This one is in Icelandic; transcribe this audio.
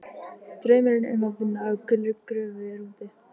Draumurinn um að vinna á gulri gröfu er úti.